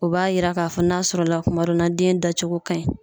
O b'a yira k'a fɔ n'a sɔrɔ la kuma dɔ na den dacogo ka ɲi